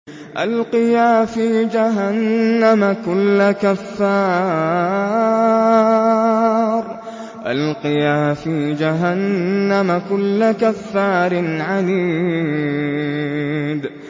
أَلْقِيَا فِي جَهَنَّمَ كُلَّ كَفَّارٍ عَنِيدٍ